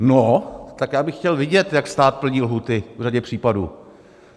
No, tak já bych chtěl vidět, jak stát plní lhůty v řadě případů.